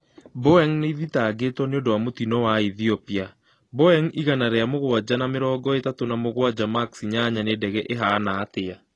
Boeing nĩethitagetwo nĩundu wa mũtino wa Ethiopia ,Boeing igana rĩa mũgwanja na mĩrongi ĩtatũ na mũgwanja max inyanya nĩ ndege ĩhanatĩa